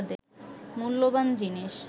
মূল্যবান জিনিস